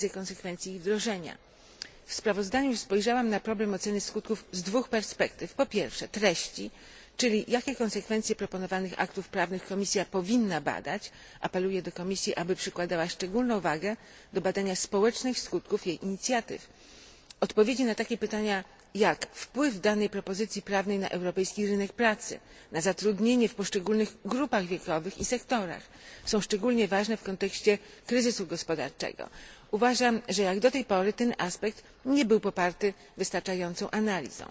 W sprawozdaniu spojrzałam na problem oceny skutków z dwóch perspektyw po pierwsze treści, czyli jakie konsekwencje proponowanych aktów prawnych Komisja powinna badać. Apeluję tu do Komisji, aby przykładała szczególną wagę do badania społecznych skutków jej inicjatyw. Odpowiedzi na takie pytania, jak wpływ danej propozycji prawnej na europejski rynek pracy, na zatrudnienie w poszczególnych grupach wiekowych i sektorach, są szczególnie ważne w kontekście kryzysu gospodarczego. Uważam, że, jak do tej pory, ten aspekt nie był poparty wystarczającą analizą.